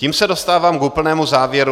Tím se dostávám k úplnému závěru.